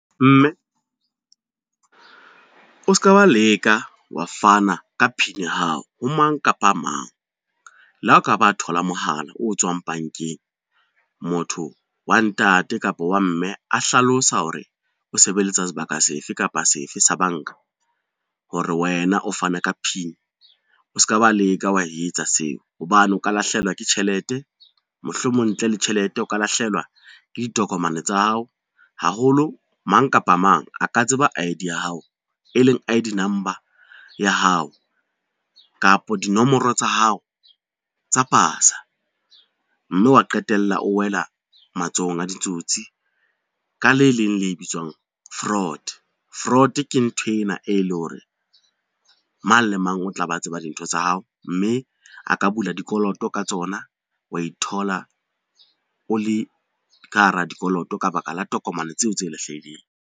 Mme, o ska ba leka wa fana ka PIN ya hao ho mang kapa mang, le ha o ka ba thola mohala o tswang bankeng, motho wa ntate kapa wa mme a hlalosa hore o sebeletsa sebaka se fe kapa se fe sa banka hore wena o fana ka PIN o ska ba leka wa etsa seo, hobane o ka lahlehelwa ke tjhelete mohlomong ntle le tjhelete o ka lahlehelwa ke ditokomane tsa hao haholo mang kapa mang a ka tseba I_D ya hao, e leng I_D number ya hao kapa dinomoro tsa hao tsa pasa, mme wa qetella o wela matsohong a ditsotsi ka le leng le bitswang fraud. Fraud ke nthwena e e le hore mang le mang o tla be a tseba dintho tsa hao, mme a ka bula dikoloto ka tsona, wa ithola o le ka hara dikoloto ka baka la tokomane tseo tse lahlehileng.